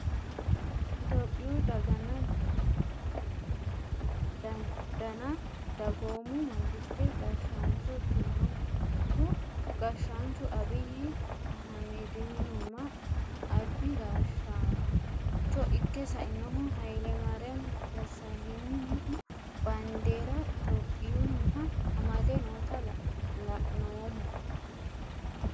Ethiyophiyu dagana dadanna dagoomu mangiste gashaancho ikinohu gashaanchu abiyi ayimedihunma albi gashaancho ike sainohu hayilemayiram desaleynhu baandera ethiyophiyuniha amade noota la`noomo.